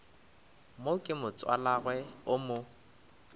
mo ke motswalagwe o mo